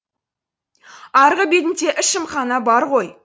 арғы бетінде ішімхана бар ғой